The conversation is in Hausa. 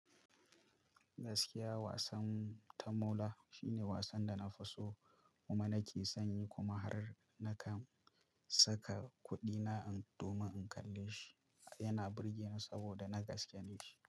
Gaskiya wasan tamola shine wasan da na fi so kuma nake son yi kuma har na kan saka kuɗina domin in kalle shi. Yana burge ni saboda na gaskene shi.